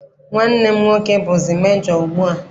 Nwanne m nwoke bụzi mejo ugbu a.